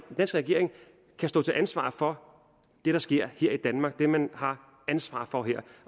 regering står til ansvar for det der sker her i danmark det man har ansvar for her